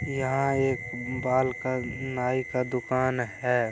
यहाँ एक बाल का नाई का दुकान है।